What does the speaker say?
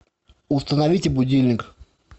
установите будильник